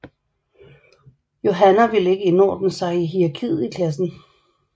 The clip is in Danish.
Yohanna ville ikke indordne sig hierarkiet i klassen